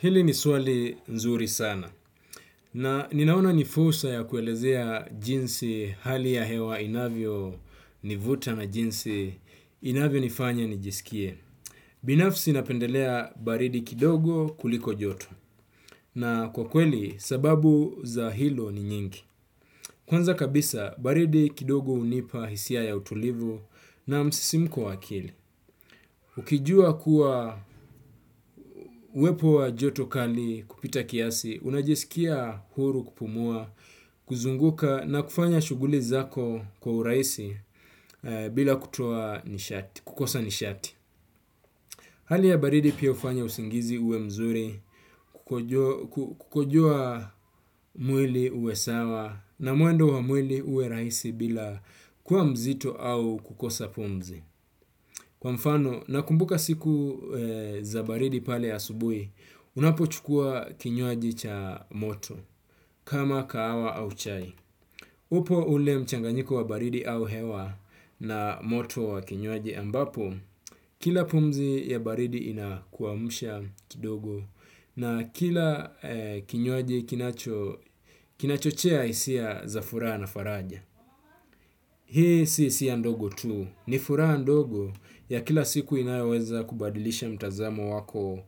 Hili ni swali nzuri sana. Na ninaona nifursa ya kuelezea jinsi hali ya hewa inavyo nivuta na jinsi inavyo nifanya nijisikie. Binafsi napendelea baridi kidogo kuliko joto. Na kwa kweli, sababu za hilo ni nyingi. Kwanza kabisa, baridi kidogo unipa hisia ya utulivu na msisimko wakili. Ukijua kuwa uepo wa joto kali kupita kiasi, unajisikia huru kupumua, kuzunguka na kufanya shuguli zako kwa uraisi bila kukosa nishati. Hali ya baridi pia ufanya usingizi uwe mzuri, kukojua mwili uwe sawa na mwendo wa mwili uwe raisi bila kuwa mzito au kukosa pumzi. Kwa mfano, na kumbuka siku za baridi pale asubuhi, unapo chukua kinywaji cha moto, kama kahawa au chai. Upo ule mchanganyiko wa baridi au hewa na moto wa kinywaji ambapo, kila pumzi ya baridi inakuwamusha kidogo na kila kinywaji kinachochea isia za furaha na faraja. Hii si sia ndogo tu, ni furaha ndogo ya kila siku inayoweza kubadilisha mtazamo wako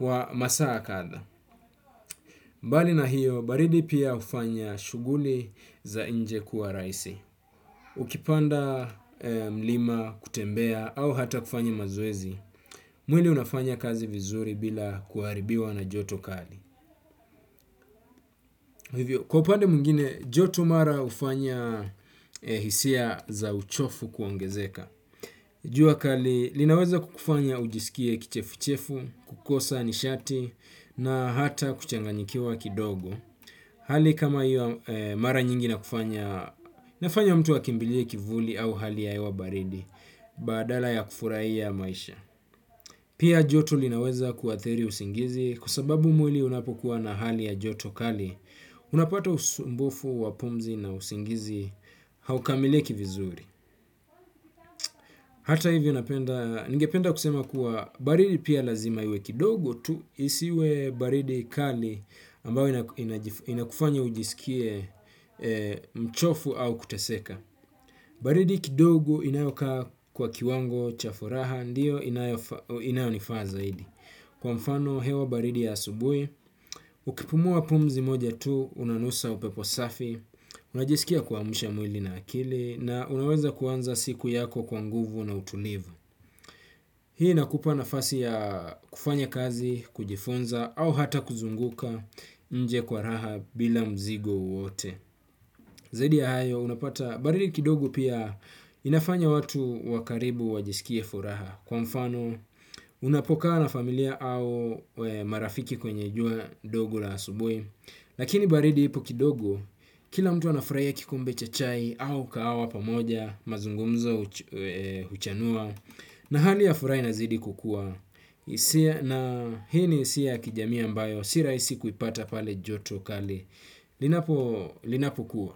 wa masaa katha. Mbali na hiyo, baridi pia ufanya shuguli za inje kuwa raisi. Ukipanda mlima, kutembea, au hata kufanya mazwezi, mwili unafanya kazi vizuri bila kuaribiwa na joto kali. Kwa upande mwingine, joto mara ufanya hisia za uchofu kwongezeka. Jua kali, linaweza kukufanya ujisikie kichefu-chefu, kukosa, nishati, na hata kuchanganyikiwa kidogo. Hali kama io mara nyingi inakufanya, inafanya mtu akimbilie kivuli au hali ya ewa baridi, badala ya kufuraia maisha. Pia joto linaweza kuwatheri usingizi, kwa sababu mwili unapokuwa na hali ya joto kali, unapato usumbufu wa pumzi na usingizi haukamiliki vizuri. Hata hivyo ningependa kusema kuwa baridi pia lazima iwe kidogo tu isiwe baridi kali ambao inakufanya ujisikie mchofu au kuteseka. Baridi kidogo inayokaa kwa kiwango cha furaha ndiyo inayonifaa zaidi. Kwa mfano, hewa baridi ya asubui, ukipumua pumzi moja tu, unanusa upepo safi, unajisikia kwamsha mwili na akili, na unaweza kuanza siku yako kwa nguvu na utulivu. Hii inakupa nafasi ya kufanya kazi kujifunza au hata kuzunguka nje kwa raha bila mzigo wowote. Zaidi ya hayo unapata baridi kidogo pia inafanya watu wakaribu wajisikie furaha kwa mfano unapokaa na familia au marafiki kwenye jua dogo la asubwe. Lakini baridi ipo kidogo kila mtu anafuraia kikombe cha chai au kaawa pamoja mazungumzo huchanua na hali ya furaa inazidi kukua. Na hini isia ya kijamii ambayo siraisi kuipata pale joto kali. Linapo kua.